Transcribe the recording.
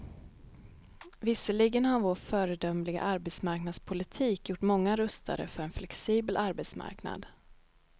Visserligen har vår föredömliga arbetsmarknadspolitik gjort många rustade för en flexibel arbetsmarknad.